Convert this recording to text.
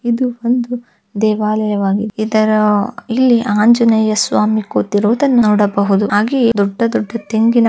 ಇದು ಒಂದು ದೇವಾಲಯವಾಗಿದ್ದು ಇದರ ಇಲ್ಲಿ ಆಂಜನೇಯ ಸ್ವಾಮಿ ಕೂತಿರುವುದನ್ನು ನೋಡಬಹುದು ಹಾಗೆಯೆ ದೊಡ್ಡ ದೊಡ್ಡ ತೆಂಗಿನ--